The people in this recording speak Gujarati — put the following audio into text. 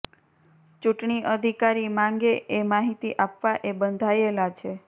ચૂંટણી અધિકારી માંગે એ માહિતી આપવા એ બંધાયેલા છે